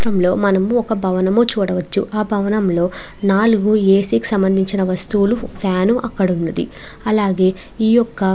ఈ చిత్రంలో మనం ఒక భవనం చూడవచ్చు ఆ భవనంలో నాలుగు ఏ.సి. కి సంబంధించిన వస్తువులు ఫ్యాన్ అక్కడ ఉంది. అలాగే ఈ యొక్క --